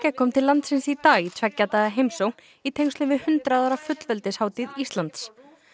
kom til landsins í dag í tveggja daga heimsókn í tengslum við hundrað ára Íslands